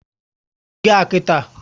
Gụọ égo ahụ nkịta!